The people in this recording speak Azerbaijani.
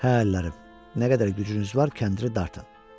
Hə əllərim, nə qədər gücünüz var, kəndiri dartın.